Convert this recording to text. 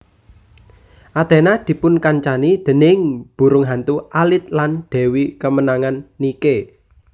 Athena dipunkancani déning burung hantu alit lan dewi kemenangan Nike